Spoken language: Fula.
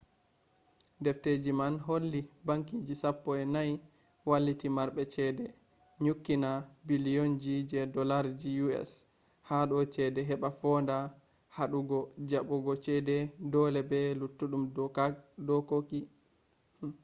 defteji man holli bankije sappo e nay walliti marɓe ceede nyukkina billionji je dollarji us hado chede heba fonda haɗugo jabbugo ceede dole be luttuɗum dokoki